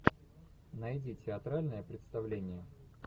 найди театральное представление